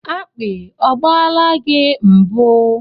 Akpi ọ gbaala gị mbụ?